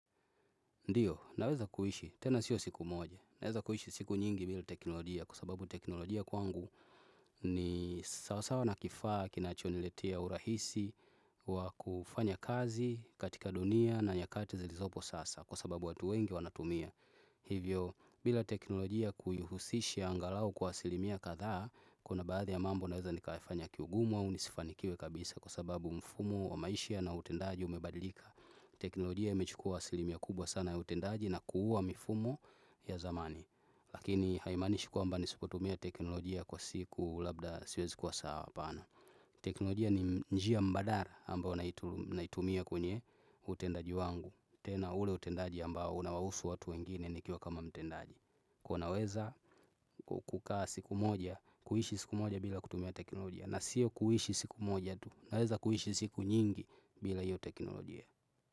Ndiyo, naweza kuishi, tena sio siku moja. Naweza kuishi siku nyingi bila teknolojia kwa sababu teknolojia kwangu ni sawasawa na kifaa, kinachoniletea urahisi, wa kufanya kazi katika dunia na nyakati zilizopo sasa kwa sababu watu wengi wanatumia. Hivyo, bila teknolojia kuihusisha angalau kwa asilimia kadhaa, kuna baadhi ya mambo naweza nikaifanya kiugumu au nisifanikiwe kabisa kwa sababu mfumo wa maisha na utendaji umebadilika. Teknolojia imechukua asilimia kubwa sana ya utendaji na kuuwa mifumo ya zamani. Lakini haimanishi kwamba nisipotumia teknolojia kwa siku labda siwezi kwa saa hapana. Teknolojia ni njia mbadala ambao naitumia kwenye utendaji wangu. Tena ule utendaji ambao unawahusu watu wengine nikiwa kama mtendaji. Kwa naweza kukaa siku moja, kuishi siku moja bila kutumia teknolojia na siyo kuhishi siku moja tu, naweza kuhishi siku nyingi bila hiyo teknolojia.